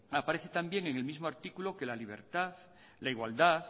aparece también en el mismo artículo que la libertad la igualdad